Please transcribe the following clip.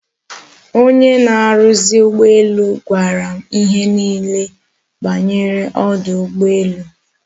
Onye na-aruzi ugboelu gwara m ihe niile banyere odu ugboelu